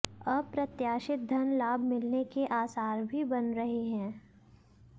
अप्रत्याशित धन लाभ मिलने के आसार भी बन रहे हैं